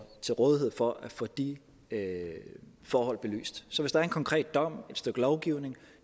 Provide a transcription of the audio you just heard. til rådighed for at få de forhold belyst så hvis der er en konkret dom et stykke lovgivning